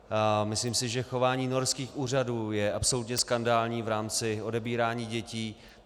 Myslím si, že chování norských úřadů je absolutně skandální v rámci odebírání dětí.